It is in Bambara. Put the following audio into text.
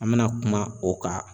An me na kuma o kan